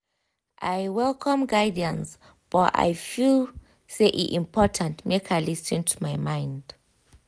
i welcome guidance but i feel say e important make i lis ten to my mind.